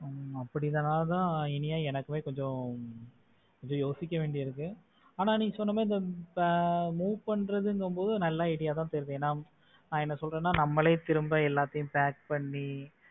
ஹம் அப்படித்தான் அதான் இனியா எனக்குமே கொஞ்சம் யோசிக்க வேண்டியது இருக்கு ஆனா நீ சொன்ன மாரி இந்த move பண்றதுங்கும் போது நல்ல idea வா தான் தெரியுது ஏன்னா நான் என்ன சொல்றேன்னா நம்மளே திரும்ப எல்லாத்தையும் pack பண்ணி